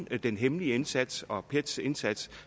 den hemmelige indsats og pets indsats